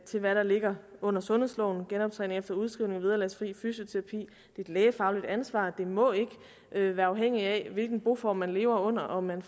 til hvad der ligger under sundhedsloven genoptræning efter udskrivning vederlagsfri fysioterapi et lægefagligt ansvar det må ikke være afhængigt af hvilken boform man lever under om man